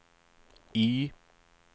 Y